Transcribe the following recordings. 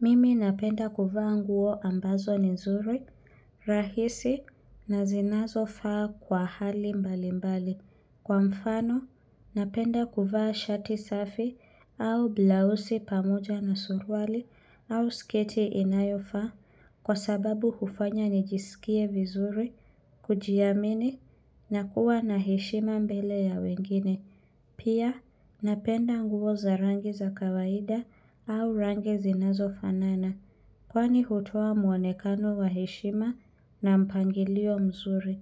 Mimi napenda kuvaa nguo ambazo ni nzuri, rahisi, na zinazofaa kwa hali mbalimbali. Kwa mfano, napenda kuvaa shati safi au blausi pamoja na suruali au sketi inayofaa kwa sababu hufanya nijisikie vizuri, kujiamini, na kuwa na heshima mbele ya wengine. Pia napenda nguo za rangi za kawaida au rangi zinazofanana kwani hutoa mwonekano wa heshima na mpangilio mzuri.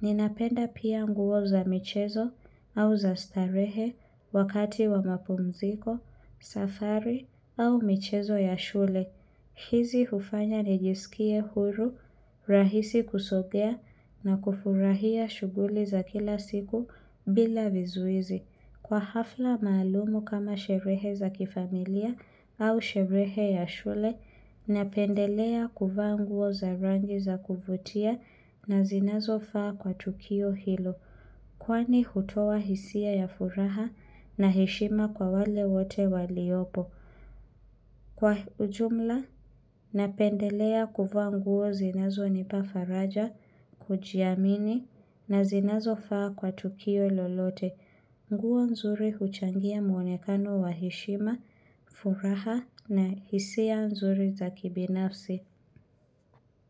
Ninapenda pia nguo za michezo au za starehe wakati wa mapumziko, safari au michezo ya shule. Hizi hufanya nijisikie huru, rahisi kusogea na kufurahia shughuli za kila siku bila vizuizi. Kwa hafla maalumu kama sherehe za kifamilia au sherehe ya shule, napendelea kuvaa nguo za rangi za kuvutia na zinazofaa kwa tukio hilo. Kwani hutoa hisia ya furaha na heshima kwa wale wote waliopo. Kwa ujumla, napendelea kuvaa nguo zinazonipa faraja, kujiamini na zinazofaa kwa tukio lolote. Nguo nzuri huchangia mwonekano wa heshima, furaha na hisia nzuri za kibinafsi.